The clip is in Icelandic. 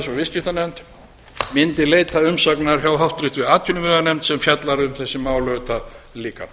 viðskiptanefnd mundi leita umsagnar hjá háttvirtri atvinnuveganefnd sem fjallar um þessi mál auðvitað líka